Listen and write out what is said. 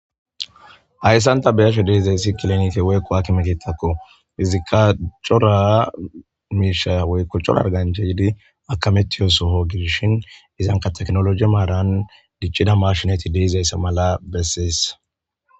hayssanta beyasho de'izayssi kilenite weykko haki mekitakko izikka cora miisha woykko cora arganchaidi akamettiyosoho gidishin izanka teknologi maaran diccida mashinati deizayse mala bessies